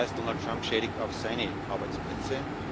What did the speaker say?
Das heißt, Donald Trump schädigt auch seine Arbeitsplätze.